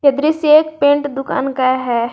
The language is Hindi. दृश्य एक पेंट दुकान का है।